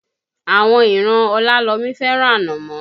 Àwọn ìran Ọlálọmí fẹ́ràn Ànàmọ́